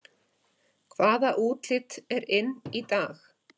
Hvaða útlit er inn í dag